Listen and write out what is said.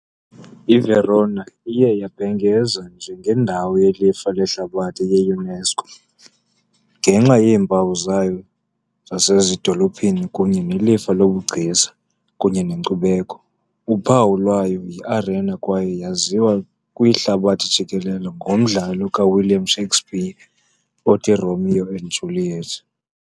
I-Verona iye yabhengezwa njengendawo yelifa lehlabathi yi- UNESCO ngenxa yeempawu zayo zasezidolophini kunye nelifa lobugcisa kunye nenkcubeko. Uphawu lwayo yiArena kwaye yaziwa kwihlabathi jikelele ngomdlalo kaWilliam Shakespeare othi "Romeo and Juliet" .